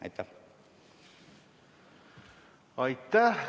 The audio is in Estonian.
Aitäh!